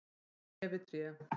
og tré við tré.